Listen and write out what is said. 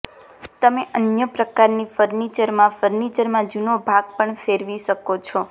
તમે અન્ય પ્રકારની ફર્નિચરમાં ફર્નિચરમાં જૂનો ભાગ પણ ફેરવી શકો છો